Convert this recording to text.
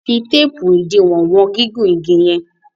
fí teepu idiwọn wọn gigun ìgi yen.